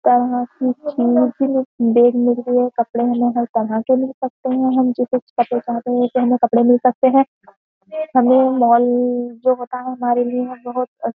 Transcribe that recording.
देखने के लिए कपड़े हमें हर तरह के मिल सकते हैं हम जैसे कपड़े चाहते हैं उसे हमें कपड़े मिल सकते हैं। हमें मॉल जो होता है हमारे लिए बोहोत --